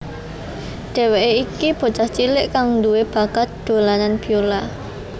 Dhèwèké iku bocah cilik kang duwé bakat dolanan biola